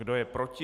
Kdo je proti?